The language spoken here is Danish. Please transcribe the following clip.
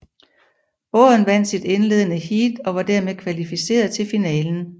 Båden vandt sit indledende heat og var dermed kvalificeret til finalen